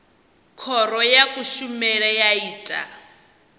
khoro ya kushemele ya ita